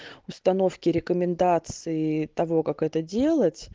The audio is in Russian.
установки рекомендации того как это делать